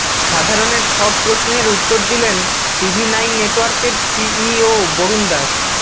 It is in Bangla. সাধারণের সব প্রশ্নের উত্তর দিলেন টিভি নাইন নেটওয়ার্কের সিইও বরুণ দাস